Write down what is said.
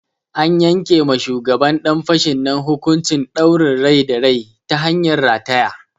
An yanke ma shugaban ɗan fashin nan hukuncin ɗaurin rai da rai ta hanyar rataya.